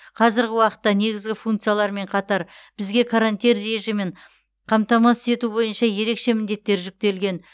қазіргі уақытта негізгі функциялармен қатар бізге карантин режимін қамтамасыз ету бойынша ерекше міндеттер жүктелген